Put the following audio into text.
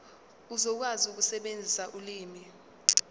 uzokwazi ukusebenzisa ulimi